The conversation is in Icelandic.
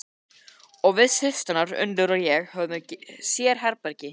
Og við systurnar Unnur og ég höfum sérherbergi.